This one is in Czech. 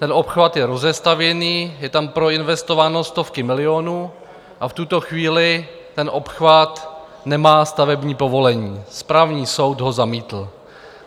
Ten obchvat je rozestavěný, jsou tam proinvestovány stovky milionů a v tuto chvíli ten obchvat nemá stavební povolení, správní soud ho zamítl.